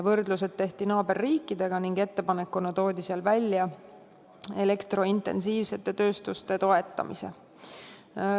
Võrdlused tehti naaberriikidega ning ettepanekuna toodi välja elektrointensiivsete tööstuste toetamine.